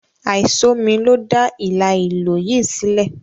Àìsómi ló dá hílàhílo yìí sílẹ̀.